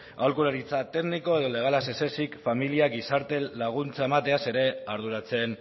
aholkularitza tekniko edo legala ez ezik familia gizarte laguntza emateaz ere arduratzen